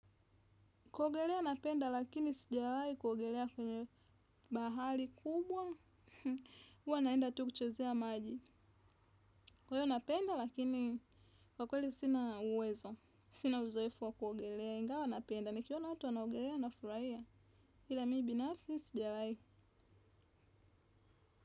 Kuogelea napenda lakini sijawahi kuogelea kwenye bahari kubwa, huwa naenda tu kuchezea maji. Kwa hiyo napenda lakini kwa kweli sina uwezo, sina uzoefu wa kuogelea ingawa napenda. Nikiona watu wanaogelea nafurahia ila mi binafsi sijawahi.